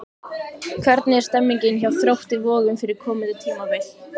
Hvernig er stemningin hjá Þrótti Vogum fyrir komandi tímabil?